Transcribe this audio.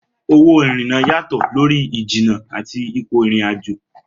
Owó ìrìnnà yàtọ̀ lórí ìjìnnà àti ipò ìrìn-àjò.